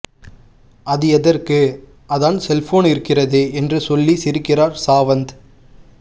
அது எதற்கு அதான் செல்போன் இருக்கிறதே என்று சொல்லி சிரிக்கிறார் சாவந்த்